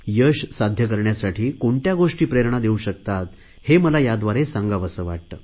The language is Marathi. यश साध्य करण्यासाठी कोणत्या गोष्टी प्रेरणा देऊ शकतात हे मला याद्वारे सांगावेसे वाटते